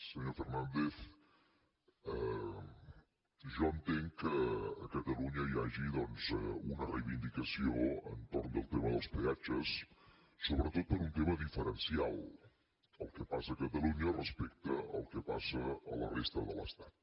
senyor fernàndez jo entenc que a catalunya hi hagi doncs una reivindicació entorn del tema dels peatges sobretot per un tema diferencial el que passa a catalunya respecte al que passa a la resta de l’estat